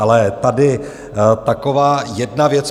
Ale tady taková jedna věc.